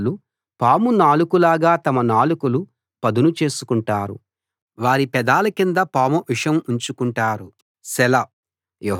వాళ్ళు పాము నాలుకలాగా తమ నాలుకలు పదును చేసుకుంటారు వారి పెదాల కింద పాము విషం ఉంచుకుంటారు సెలా